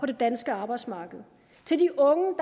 det danske arbejdsmarked til de unge